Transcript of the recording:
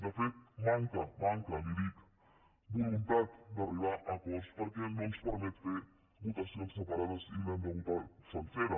de fet manca li dic voluntat d’arribar a acords perquè no ens permet fer votacions separades i l’hem de votar sencera